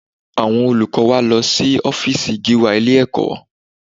Àwọn olùkọ́ wa lọ sí ọ́fíìsì Gíwá ilé-ẹ̀kọ́